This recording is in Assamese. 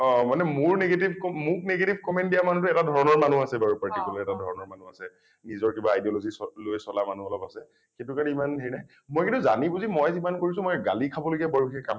অ মানে মোৰ negative ক মোৰ negative comment দিয়া মানুহটো এটা ধৰণৰ মানুহ আছে বাৰু এটা particular এটা ধৰণৰ মানুহ আছে । নিজৰ কিবা ideology চ লৈ চলা মানুহ অলপ আছে । সেইটো কাৰণে ইমান হেৰি নাই । মই কিন্তু জানি বুজি মই যিমান কৰিছোঁ মই গালি খাব লগীয়া বাৰু সেই কাম